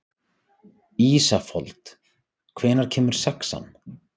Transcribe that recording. Ísafold, hvenær kemur sexan?